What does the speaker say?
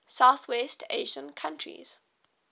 southwest asian countries